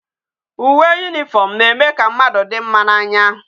Uwe uniform na eme ka mmadu di mma na anya